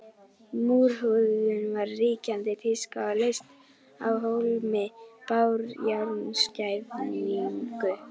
Múrhúðun var ríkjandi tíska og leysti af hólmi bárujárnsklæðningu.